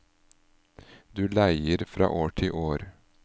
Du leier fra år til år.